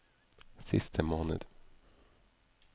siste måned